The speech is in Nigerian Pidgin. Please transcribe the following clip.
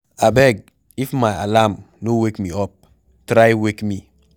Abeg if my alarm no wake me up, try wake me.